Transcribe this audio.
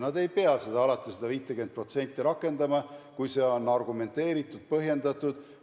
Nad ei pea alati seda 50% rakendama, kui see on argumenteeritud, põhjendatud.